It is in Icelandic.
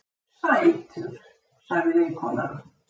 Sætur, sagði vinkonan.